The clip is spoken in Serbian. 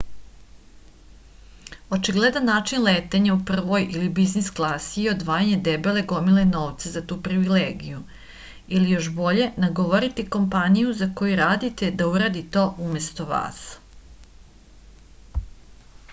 очигледан начин летења у првој или бизнис класи је одвајање дебеле гомиле новца за ту привилегију или још боље наговорити компанију за коју радите да уради то уместо вас